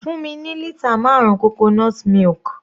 Fún mi ní lítà marun coconut milk.